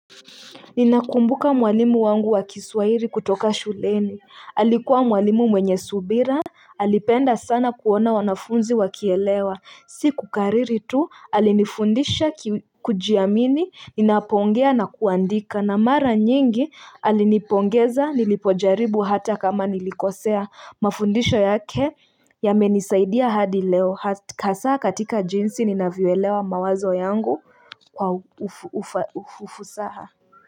Ninakumbuka mwalimu wangu wa kiswahili kutoka shuleni alikuwa mwalimu mwenye subira Alipenda sana kuona wanafunzi wakielewa si kukariri tu alinifundisha kujiamini ninapoongea na kuandika na mara nyingi alinipongeza nilipojaribu hata kama nilikosea mafundisho yake yamenisaidia hadi leo hasa katika jinsi ninavyoelewa mawazo yangu kwa ufusaha.